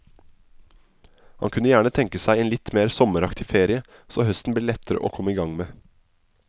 Hun kunne gjerne tenke seg en litt mer sommeraktig ferie, så høsten ble lettere å komme i gang med.